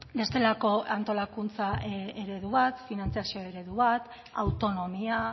bestelako antolakuntza eredu bat finantzazio eredu bat autonomia